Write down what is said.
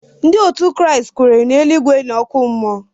Ndị Kraịst kweere na eluigwe na oku mmuo